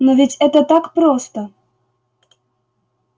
но ведь это так просто